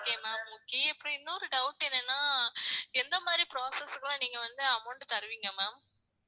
okay ma'am okay அப்புறம் இன்னொரு doubt என்னன்னா எந்த மாதிரி process க்கு எல்லாம் நீங்க வந்து amount தருவீங்க ma'am